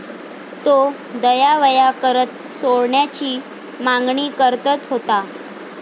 तो दयावया करत सोडण्याची मागणी करतत होता.